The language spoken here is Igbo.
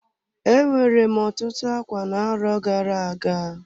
E nwere m otutu ákwá na-arọ gara-aga.